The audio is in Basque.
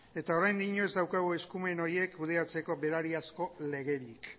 eta oraindino ez daukagu eskumen horiek kudeatzeko berariazko legerik